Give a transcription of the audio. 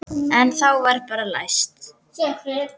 En þá var bara læst.